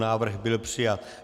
Návrh byl přijat.